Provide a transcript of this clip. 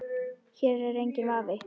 Hér er enginn vafi.